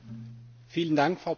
Frau Präsidentin!